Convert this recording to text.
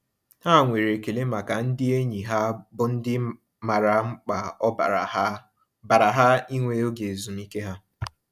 Ha nwere ekele maka ndị enyi ha bụ ndị maara mkpa ọ baara ha baara ha ịnwe oge ezumiike ha.